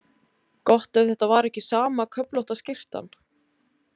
Gott ef þetta var ekki sama köflótta skyrtan.